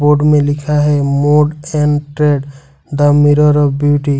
Photo में लिखा है मोड एंड्रॉयड द मिरर का बेटी ।